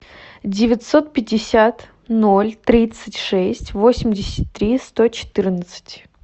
девятьсот пятьдесят ноль тридцать шесть восемьдесят три сто четырнадцать